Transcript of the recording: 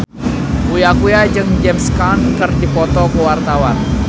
Uya Kuya jeung James Caan keur dipoto ku wartawan